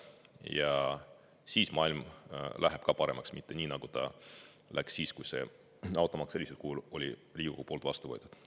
Ja siis maailm läheb ka paremaks, mitte ei lähe nii, nagu läks siis, kui automaks sellisel kujul Riigikogu poolt sai vastu võetud.